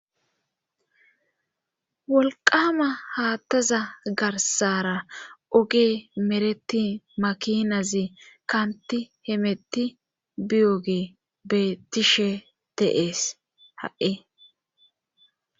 Wolqama haattaza garsara oge mereti makinazi kanti hemetti biyoge bettishe teees ha'i.